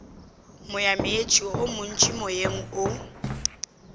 moyameetse o montši moyeng o